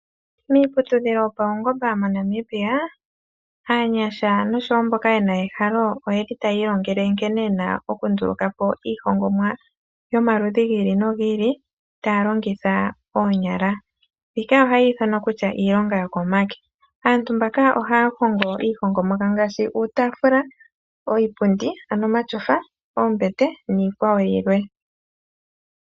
Miiputudhilo yopaungomba moNamibia aanyasha noshowo mboka yena ehalo oyeli taya ilongele nkene yena oku ndulukapo iihongomwa yomaludhi gi ili nogi ili taya longitha oonyala. Mbika ohayi ithanwa kutya iilonga yo komake, aantu mbaka ohaya hongo iihongomwa yawo ngashi uutafula, iipundi ano omatyofa, oombete nikwawo yilwe.